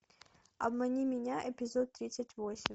обмани меня эпизод тридцать восемь